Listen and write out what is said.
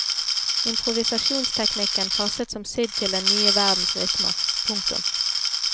Improvisasjonsteknikken passet som sydd til den nye verdens rytmer. punktum